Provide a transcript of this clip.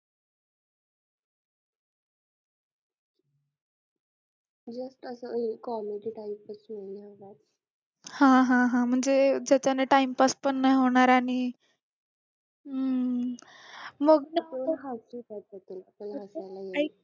हा हा म्हणजे ज्याच्याने time pass पण होणार आहे मग